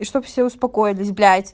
и чтоб все успокоились блять